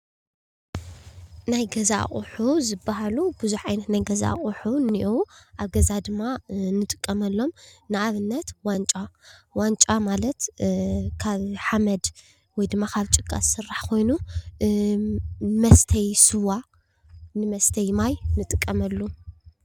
ናይ ገዛ አቁሑ ዝበሃሉ ብዙሕ ዓይነት ናይ ገዛ አቁሑ አለው። ኣብ ገዛ ድማ ንጥቀመሉም ንኣብነት ዋንጫ። ዋንጫ ማለት ካብ ሓመድ ወይ ድማ ካብ ጭቃ ዝስራሕ ኮይኑ ንመስተዪ ስዋ፣ ንመስተዪ ማይ ንጠቀመሉ።